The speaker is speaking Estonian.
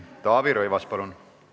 Taavi Rõivas, palun!